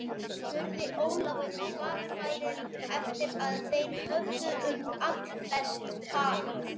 spurði Ólafur varfærinn eftir að þeir höfðu um allflest talað.